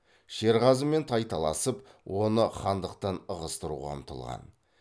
шерғазымен тайталасып оны хандықтан ығыстыруға ұмтылған